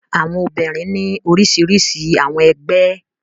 Àwọn obìnrin ní orísirísi àwọn ẹgbẹ́.